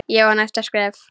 Ég á næsta skref.